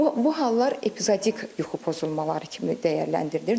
Bu hallar epizodik yuxu pozulmaları kimi dəyərləndirilir.